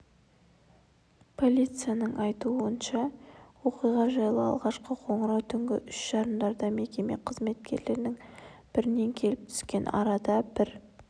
полицияның айтуынша оқиға жайлы алғашқы қоңырау түнгі үш жарымдарда мекеме қызметкерлерінің бірінен келіп түскен арада бір